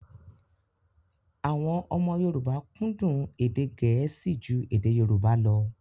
Àwọn ọmọ Yorùbá kúndùn èdè Gẹ̀ẹ́sì ju èdè Yorùbá lọ